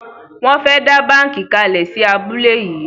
Won fè dá bánkì kalè sí abúlé yí.